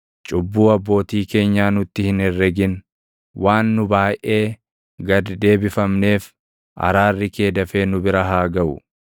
Cubbuu abbootii keenyaa nutti hin herregin; waan nu baayʼee gad deebifamneef, araarri kee dafee nu bira haa gaʼu.